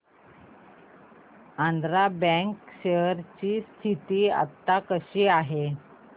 Andhra bank share ची स्थिती आता कशी आहे